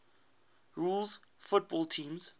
rules football teams